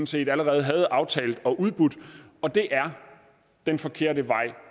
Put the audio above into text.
set allerede havde aftalt og udbudt og det er den forkerte vej